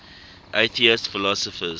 atheist philosophers